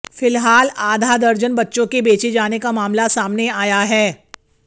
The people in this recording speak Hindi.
फिलहाल आधा दर्जन बच्चों के बेचे जाने का मामला सामने आया है